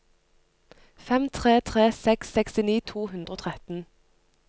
fem tre tre seks sekstini to hundre og tretten